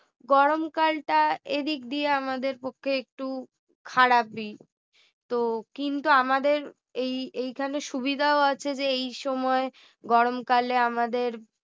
গরমকালটা এদিক দিয়ে আমাদের পক্ষে একটু খারাপই তো কিন্তু আমাদের এই~ এইখানে সুবিধা আছে যে এই সময় গরমকালে আমাদের